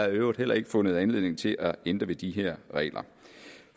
øvrigt heller ikke fundet anledning til at ændre ved de her regler